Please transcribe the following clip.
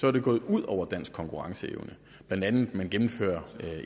er det gået ud over dansk konkurrenceevne blandt andet at man gennemfører